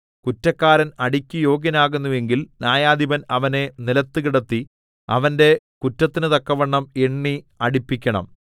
കുറ്റക്കാരൻ അടിക്ക് യോഗ്യനാകുന്നു എങ്കിൽ ന്യായാധിപൻ അവനെ നിലത്തു കിടത്തി അവന്റെ കുറ്റത്തിനു തക്കവണ്ണം എണ്ണി അടിപ്പിക്കണം